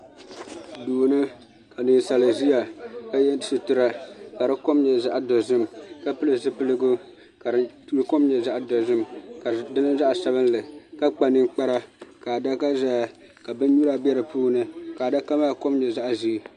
Duu ni ka ninsali ziya ka yiɛ sitira ka di kom yɛ zaɣi dozim ka pili zupiligu ka di kom yɛ zaɣi dozim ka di niŋ zaɣi sabinli ka kpa ninkpara ka adaka zaya ka bini nyura bɛ di puuni ka adaka maa kom yɛ zaɣi ʒee.